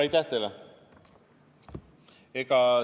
Aitäh teile!